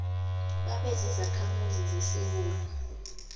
babe zizakhamuzi zesewula